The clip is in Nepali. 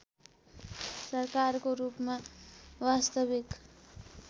सरकारको रूपमा वास्तविक